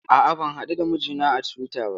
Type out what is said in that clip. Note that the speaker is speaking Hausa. A'a, ban haɗu da mijina a Twitter ba.